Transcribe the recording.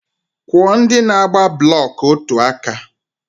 Kwụọ ndị na-agba blọk otu aka!